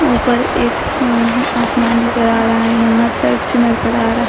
ऊपर एक अह आसमान नजर आ रहा है यहां चर्च नजर आ रहा--